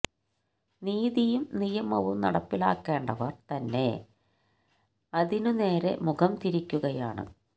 നീതിയും നിയമവും നടപ്പിലാക്കേണ്ടവര് തന്നെ അതിന്് നേരെ മുഖം തിരിക്കുകയാണ്